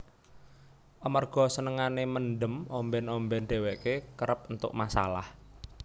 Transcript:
Amarga senengane mendem omben omben dheweke kerep entuk masalah